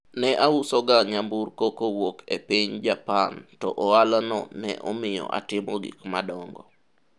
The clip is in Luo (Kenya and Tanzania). ne auso ga nyamburko kowuok e piny Japan to ohala no ne omiyo atimo gik madongo